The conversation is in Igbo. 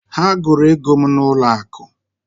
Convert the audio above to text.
Ha gụrụ ego m n'ụlọ akụ.